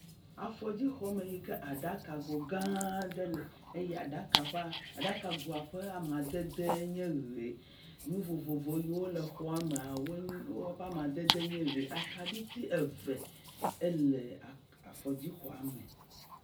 Afɔdzi xɔ me yike aɖaka go gã aɖe le eye aɖaka ƒe…aɖaka ƒe amadede nye ʋi. nu vovovowo si le xɔa mea, woƒe amadede nye ʋi. akaɖiti eve ele avɔdzi xɔa me.